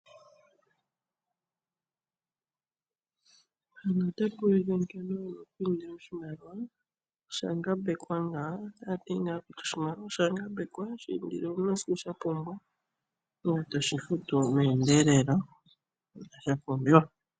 Otapa ulike nkene wuna oku indila oshimaliwa, osha ngambekwa ngano , otoshi indile ngele wuna shoka wapumbwa etoshi futu mendelelo ngashi sha pumbiwa.